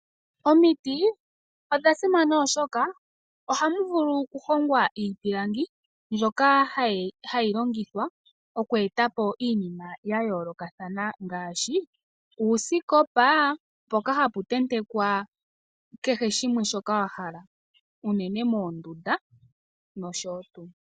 Omiti odha simana oshoka oha mu vulu okuhongwa iipilangi mbyoka hayi longithwa okweetapo iinima ya yoolokathana ngaashi uusikopa, mpoka hapu tentekwa kehe shimwe shoka wa hala unene moondunda nosho tuu.